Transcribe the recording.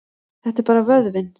Þetta er bara vöðvinn.